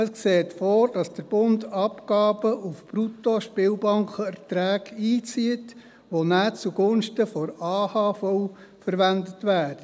Es sieht vor, dass der Bund Abgaben auf Bruttospielerträgen einzieht, die dann zugunsten der AHV verwendet werden.